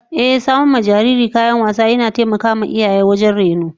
Ehh, samar wa da jariri kayan wasan yara yana taimakon iyaye matuka wajen rainon su